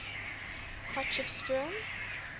potchefstroom